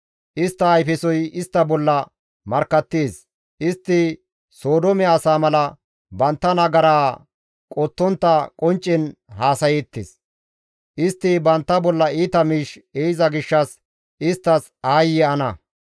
Istta ayfesoy istta bolla markkattees; istti Sodoome asaa mala bantta nagaraa qottontta qonccen haasayeettes; istti bantta bolla iita miish ehiza gishshas isttas aayye ana!